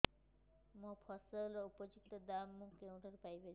ମୋ ଫସଲର ଉପଯୁକ୍ତ ଦାମ୍ ମୁଁ କେଉଁଠାରୁ ପାଇ ପାରିବି